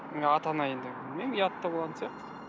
ыыы ата ана енді білмеймін ұят та болатын сияқты